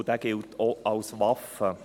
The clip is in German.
Dieser gilt auch als Waffe.